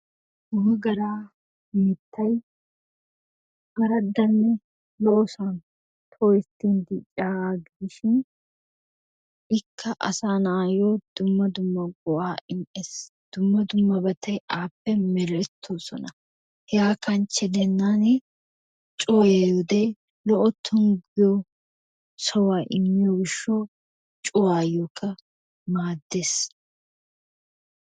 Wogaraa mittay araddanne lo"osan tooketti dicciyaagaa gidishin ikka asaa na'ayoo dumma dumma go"aa immees. Dumma dumma bati appe merettoosona. Hegaa kanchche giidenan cuwayiyoode Lo'iyaa sawuwaa immiyoo giishshawu cuwayoo maaddees.